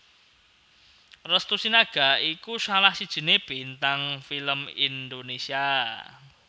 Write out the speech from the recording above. Restu Sinaga iku salah sijiné bintang film Indonesia